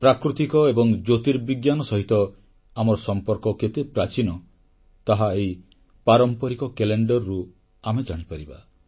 ପ୍ରାକୃତିକ ଏବଂ ଜ୍ୟୋତିର୍ବିଜ୍ଞାନ ସହିତ ଆମର ସମ୍ପର୍କ କେତେ ପ୍ରାଚୀନ ତାହା ଏହି ପାରମ୍ପରିକ କ୍ୟାଲେଣ୍ଡରରୁ ଆମେ ଜାଣିପାରିବା